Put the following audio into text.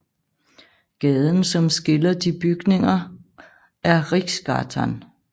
Gaden som skiller de byggningerne er Riksgatan